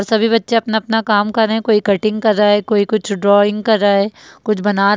सभी बच्चे अपना-अपना काम कर रहे है कोई कटिंग कर रहा है कोई कुछ ड्राइंग कर रहा है कुछ बना --